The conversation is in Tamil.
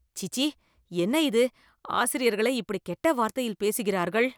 சீச்சீ.. என்ன இது! ஆசிரியர்களே இப்படி கெட்ட வார்த்தையில் பேசுகிறார்கள்